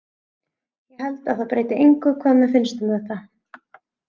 Ég held að það breyti engu hvað mér finnst um þetta.